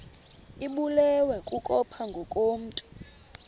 ibulewe kukopha ngokomntu